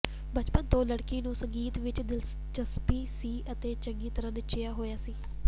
ਬਚਪਨ ਤੋਂ ਲੜਕੀ ਨੂੰ ਸੰਗੀਤ ਵਿਚ ਦਿਲਚਸਪੀ ਸੀ ਅਤੇ ਚੰਗੀ ਤਰ੍ਹਾਂ ਨੱਚਿਆ ਹੋਇਆ ਸੀ